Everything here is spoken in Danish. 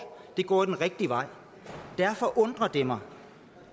det går den rigtige vej derfor undrer det mig